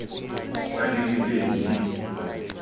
fa di le teng di